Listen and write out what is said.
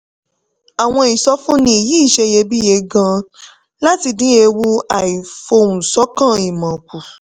àwọn ìsọfúnni yìí ṣeyebíye gan-an láti dín ewu àìfohùnṣọ̀kan ìmọ̀ kù.